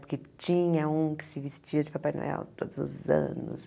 Porque tinha um que se vestia de Papai Noel todos os anos.